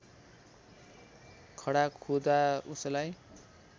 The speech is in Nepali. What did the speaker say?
खडा खुदा उसलाई